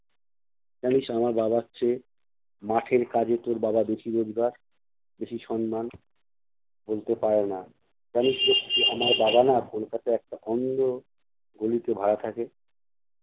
জানিস আমার বাবার চেয়ে মাঠের কাজে তোর বাবার বেশি রোজগার বেশি সম্মান। বলতে পারে না। জানিস লক্ষী আমার বাবা না কলকাতায় একটা অন্ধ গলিতে ভাড়া থাকে।